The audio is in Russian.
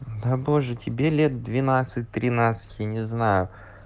да боже тебе лет двенадцать тринадцать я не знаю